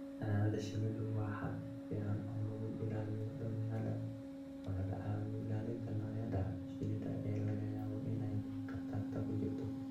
Xannaanada shinnidu waa hab fiican oo lagu ilaaliyo dabeecadda oo laga caawiyo ilaalinta noocyada shinnida ee laga yaabo inay khatar ku jirto.